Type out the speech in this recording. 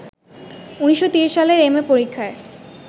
১৯৩০ সালে এম.এ পরীক্ষায়